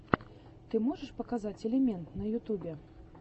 ты можешь показать элемент на ютубе